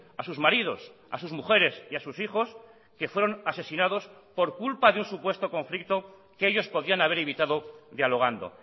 a sus maridos a sus mujeres y a sus hijos que fueron asesinados por culpa de un supuesto conflicto que ellos podían haber evitado dialogando